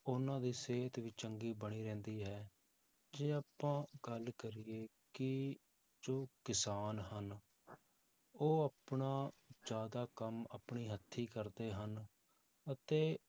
ਉਹਨਾਂ ਦੀ ਸਿਹਤ ਵੀ ਚੰਗੀ ਬਣੀ ਰਹਿੰਦੀ ਹੈ, ਜੇ ਆਪਾਂ ਗੱਲ ਕਰੀਏ ਕਿ ਜੋ ਕਿਸਾਨ ਹਨ ਉਹ ਆਪਣਾ ਜ਼ਿਆਦਾ ਕੰਮ ਆਪਣੀ ਹੱਥੀ ਕਰਦੇ ਹਨ ਅਤੇ